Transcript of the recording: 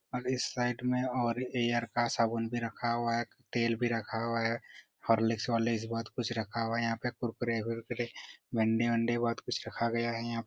और इस साइड में एक और एयर का साबुन भी रखा हुआ है। तेल भी रखा हुआ है। होर्लिक्स बोर्लिक्स बहुत कुछ रखा हुआ है। यहाँ पर कुरकुरे फुर्कुरे अंडे वनडे बहोत कुछ रखा गया है यहाँ पर।